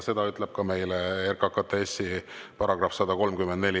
Seda lubab ka RKKTS-i § 134.